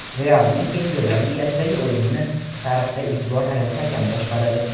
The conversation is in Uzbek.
"Real"ning Chempionlar Ligasidagi o‘yinini tarixda ilk bor ayol hakam boshqaradi.